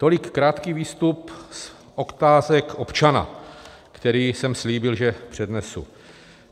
Tolik krátký výstup z otázek občana, který jsem slíbil, že přednesu.